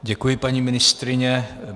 Děkuji, paní ministryně.